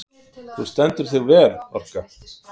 Þú stendur þig vel, Orka!